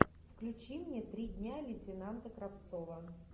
включи мне три дня лейтенанта кравцова